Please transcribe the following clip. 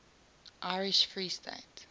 irish free state